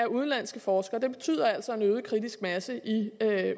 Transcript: udenlandske forskere betyder altså en øget kritisk masse i